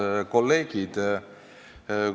Head kolleegid!